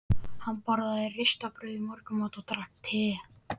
Hann borðaði ristað brauð í morgunmat og drakk te.